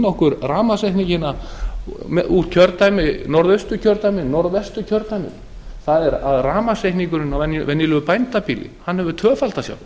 okkur rafmagnsreikningana úr norðausturkjördæmi norðvesturkjördæmi það er að rafmagnsreikningurinn á venjulegu bændabýli hefur tvöfaldast